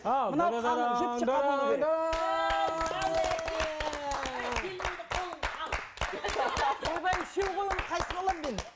ал ойбай үшеу ғой оның қайсысын аламын мен